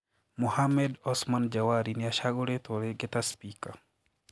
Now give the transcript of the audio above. Mohammed Osman Jawari niacaguritwo ringi ta spika.